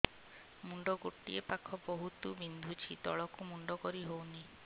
ମୁଣ୍ଡ ଗୋଟିଏ ପାଖ ବହୁତୁ ବିନ୍ଧୁଛି ତଳକୁ ମୁଣ୍ଡ କରି ହଉନି